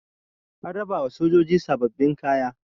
an rabawa sojoji sababbin kaya